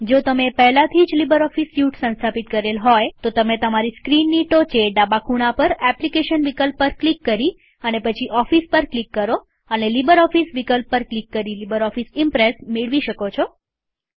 જો તમે પહેલાથી જ લીબરઓફીસ સ્યુટ સંસ્થાપિત કરેલ હોય તો તમે તમારી સ્ક્રીનની ટોચે ડાબા ખૂણા પર એપ્લીકેશન વિકલ્પ પર ક્લિક કરી અને પછી ઓફિસ પર ક્લિક કરો અને લીબરઓફીસ વિકલ્પ પર ક્લિક કરી લીબરઓફીસ ઈમ્પ્રેસ મેળવી શકો છો